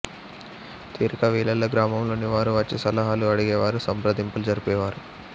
తీరిక వేళల్లో గ్రామంలోని వారు వచ్చి సలహాలు అడిగేవారు సంప్రదింపులు జరిపేవారు